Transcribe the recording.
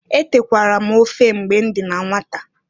Etekwara m ofe mgbe m dị na nwata.